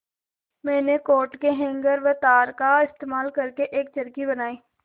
मैंने कोट के हैंगर व तार का इस्तेमाल करके एक चरखी बनाई